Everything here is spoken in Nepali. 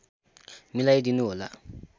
मिलाई दिनुहोला